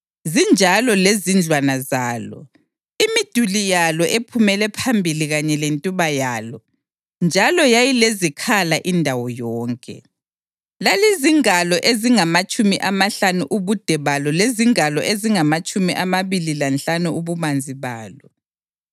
zinjalo lezindlwana zalo, imiduli yalo ephumele phambili kanye lentuba yalo, njalo yayilezikhala indawo yonke. Lalizingalo ezingamatshumi amahlanu ubude balo lezingalo ezingamatshumi amabili lanhlanu ububanzi balo.